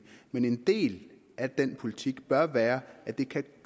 men en del af den politik bør være at det